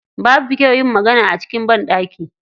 Babu kyau yin magana a cikin banɗaki.